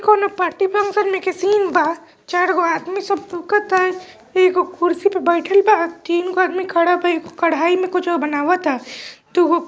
इ कोनो party function में के सीन बा चार गो आदमी सब लोकता एगो कुर्सी पर बैठल बा तीन गो आदमी खड़ा भइल एगो कढ़ाई में कुछो बनाबता दुगो --